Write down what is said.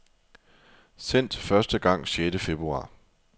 Sendt første gang sjette februar.